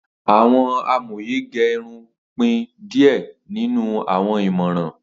Awọn amoye ge irun pin diẹ ninu awọn imọran